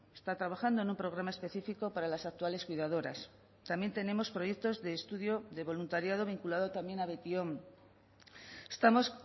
está trabajando en un programa específico para las actuales cuidadoras también tenemos proyectos de estudio de voluntariado vinculado también a beti on estamos